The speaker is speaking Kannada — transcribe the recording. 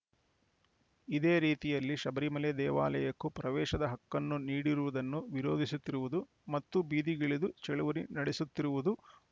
ಇದೇ ರೀತಿಯಲ್ಲಿ ಶಬರಿಮಲೆ ದೇವಾಲಯಕ್ಕೂ ಪ್ರವೇಶದ ಹಕ್ಕನ್ನು ನೀಡಿರುವುದನ್ನು ವಿರೋಧಿಸುತ್ತಿರುವುದು ಮತ್ತು ಬೀದಿಗಿಳಿದು ಚಳವಳಿ ನಡೆಸುತ್ತಿರುವುದು